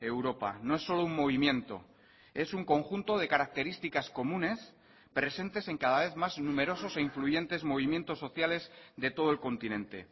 europa no es solo un movimiento es un conjunto de características comunes presentes en cada vez más numerosos e influyentes movimientos sociales de todo el continente